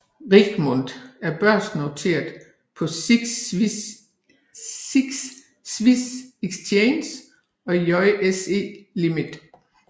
Richemont er børsnoteret på SIX Swiss Exchange og JSE Limited